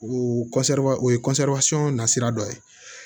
O o ye na sira dɔ ye